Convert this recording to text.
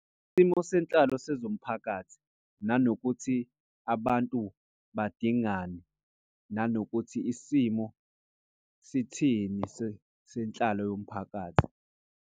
Isimo senhlalo sezomphakathi nanokuthi abantu badingani nanokuthi isimo sithini senhlalo yomphakathi